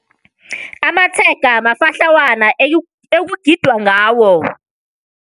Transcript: Amatshega mafatlhawana ekugidwa ngawo.